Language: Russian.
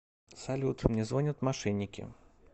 салют мне звонят мошенники